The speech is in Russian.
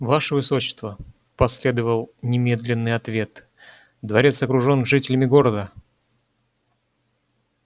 ваше высочество последовал немедленный ответ дворец окружен жителями города